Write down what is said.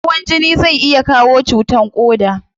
Hawan jini zai iya kawo cutan koda